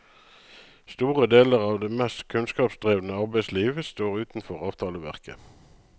Store deler av det mest kunnskapsdrevne arbeidsliv står utenfor avtaleverket.